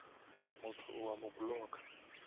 motho o a mo blocka